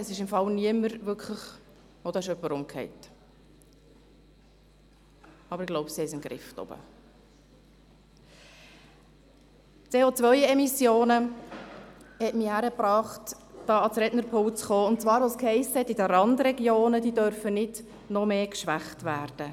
Ich bin aber hier, weil ich ein paar Worte über die CO-Emissionen gehört habe, die ja damit auch gesenkt werden könnten, und die Randregionen dürfen nicht noch mehr geschwächt werden.